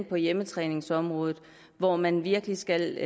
på hjemmetræningsområdet hvor man virkelig skal